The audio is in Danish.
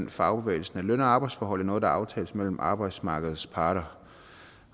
i fagbevægelsen at løn og arbejdsforhold er noget der aftales mellem arbejdsmarkedets parter